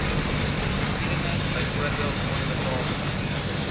geskiedenis byvoorbeeld onbetaalde